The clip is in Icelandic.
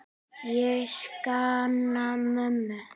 Ég sakna mömmu.